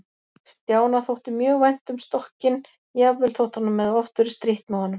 Stjána þótti mjög vænt um stokkinn, jafnvel þótt honum hefði oft verið strítt með honum.